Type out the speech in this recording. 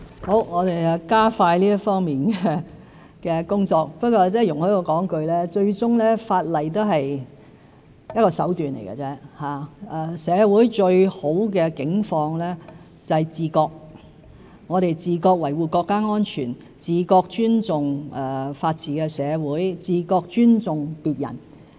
好的，我們加快這方面的工作，但容許我說一句，法例最終只不過是一種手段，社會最理想的境況是自覺：我們自覺維護國家安全、自覺尊重法治的社會、自覺尊重別人。